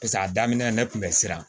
Paseke a daminɛ ne kun bɛ siran